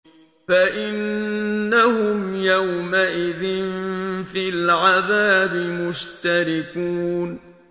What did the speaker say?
فَإِنَّهُمْ يَوْمَئِذٍ فِي الْعَذَابِ مُشْتَرِكُونَ